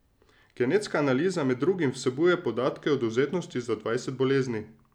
Genetska analiza med drugim vsebuje podatke o dovzetnosti za dvajset bolezni.